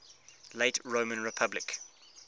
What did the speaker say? late roman republic